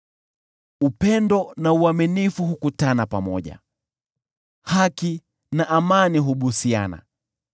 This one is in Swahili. Upendo na uaminifu hukutana pamoja, haki na amani hubusiana.